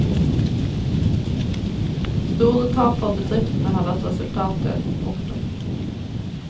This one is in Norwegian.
Store tap for bedriftene har vært resultatet. punktum